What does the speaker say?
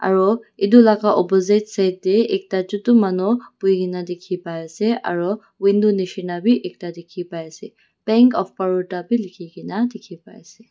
aru etu laga opposite side tae ekta chutu manu bhui na dekhi paiase aru window neshina vi ekta dekhi paiase bank of baroda lekhi na dekhi paiase.